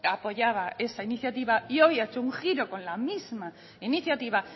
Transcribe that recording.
apoyaba esa iniciativa y hoy ha hecho un giro con la misma iniciativa